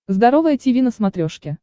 здоровое тиви на смотрешке